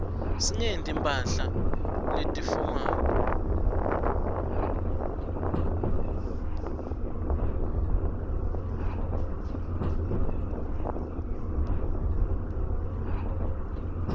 singeti mphahla leti fomali